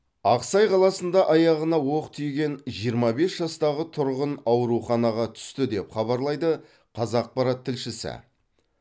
ақсай қаласында аяғына оқ тиген жиырма бес жастағы тұрғын ауруханаға түсті деп хабарлайды қазақпарат тілшісі